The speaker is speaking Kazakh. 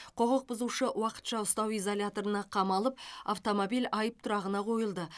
құқық бұзушы уақытша ұстау изоляторына қамалып автомобиль айып тұрағына қойылды